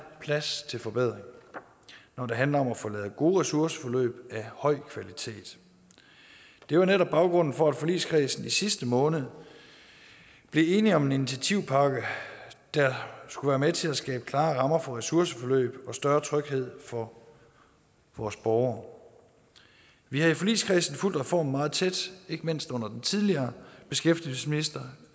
plads til forbedring når det handler om at få lavet gode ressourceforløb af høj kvalitet det var netop baggrunden for at forligskredsen i sidste måned blev enige om en initiativpakke der skulle være med til at skabe klare rammer for ressourceforløb og større tryghed for vores borgere vi har i forligskredsen fulgt reformen meget tæt ikke mindst under den tidligere beskæftigelsesminister